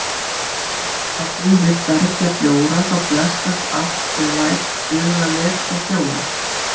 Ef að þú vilt bergja bjóra þá blessast allt ef lætur duga að lepja fjóra